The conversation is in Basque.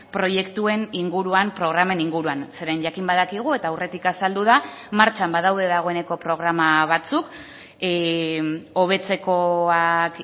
proiektuen inguruan programen inguruan zeren jakin badakigu eta aurretik azaldu da martxan badaude dagoeneko programa batzuk hobetzekoak